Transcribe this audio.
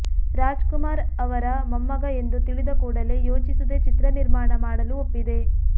ರಾಜ್ಕುಮಾರ್ ಅವರ ಮೊಮ್ಮಗ ಎಂದು ತಿಳಿದ ಕೊಡಲೇ ಯೋಚಿಸದೆ ಚಿತ್ರ ನಿರ್ಮಾಣ ಮಾಡಲು ಒಪ್ಪಿದೆ